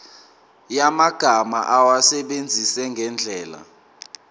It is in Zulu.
yamagama awasebenzise ngendlela